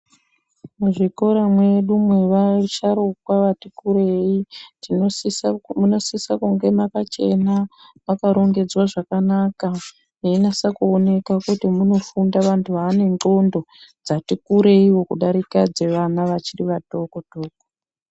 Muzvikora mwedu mwevasharuka ati kureyi munosisa kunge makachena makarongedzwa zvakanaka meinasa kuoneka kuti munofunda vandu vane ndxondo dzati kureyiwo kudarika dzevana vachiri vatoko toko.